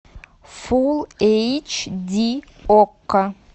фул эйч ди окко